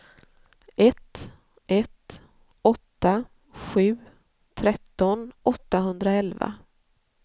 ett ett åtta sju tretton åttahundraelva